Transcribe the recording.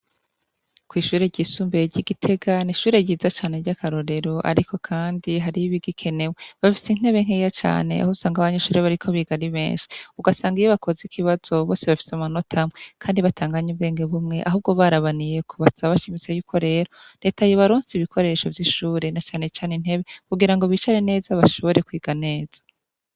Kwishure ryisumbuye ryi gitega nishure ryiza cane ryakarorero ariko kandi hariho ibigikenewe bafise intebe nkeya cane ahusanga abanyeshure bariko biga ari benshi ugasanga iyo bakoze ikibazo bose bafise amanota amwe kandi batanganya ubwenge bumwe ahubwo barabaniyeko basaba bashimitse yuko rero reta yobaronsa intebe kugira ngo bicare neza bashobore kwiga neza